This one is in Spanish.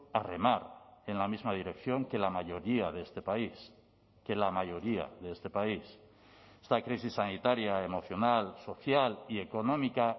a remar en la misma dirección que la mayoría de este país que la mayoría de este país esta crisis sanitaria emocional social y económica